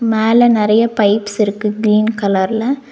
மேல நறைய பைப்ஸ் இருக்கு க்ரீன் கலர்ல .